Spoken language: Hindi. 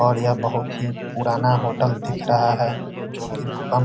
और यह बहुत ही पुराना होटल दिख रहा है जो की भूकंप --